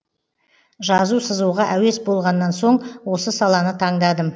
жазу сызуға әуес болғаннан соң осы саланы таңдадым